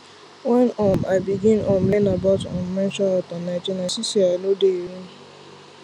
when um i begin um learn about um menstrual health and hygiene i see say i no dey alone